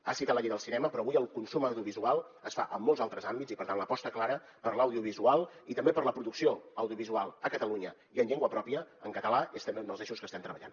ha citat la llei del cinema però avui el consum audiovisual es fa en molts altres àmbits i per tant l’aposta clara per l’audiovisual i també per la producció audiovisual a catalunya i en llengua pròpia en català és també un dels eixos que estem treballant